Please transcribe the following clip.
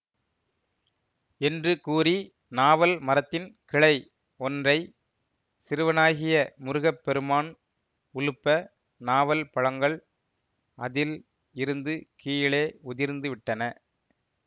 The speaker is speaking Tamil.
என்று கூறிநாவல் மரத்தின் கிளை ஒன்றை சிறுவனாகிய முருக பெருமான் உலுப்ப நாவல் பழங்கள் அதில் இருந்து கீழே உதிர்ந்து விட்டன